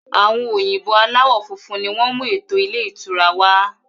Àwọn òyìnbó aláwọ funfun ni wọn mú eto ilé ìtura wá.